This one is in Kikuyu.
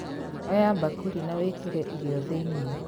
Oya mbakũri na wĩkĩrĩ irio thĩinie.